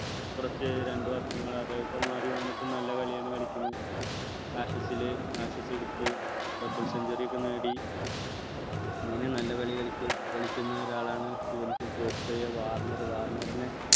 കുറച്ച് രണ്ടു വർഷങ്ങൾ അത് പ്പോ മാറിവന്നിട്ടും നല്ല കളിയാണ് കളിക്കുന്നത് എടുത്തു dubble century ഒക്കെ നേടി അങ്ങനെ നല്ല കളി കളിക്കും കളിക്കുന്ന ഒരാളാണ് സ്മിത്ത് ഓസ്ട്രേലിയ വാർണർ വാർണർനെ